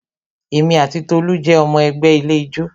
Èmi ati Tolu jẹ́ ọmọ ẹgbẹ́ ilé ijó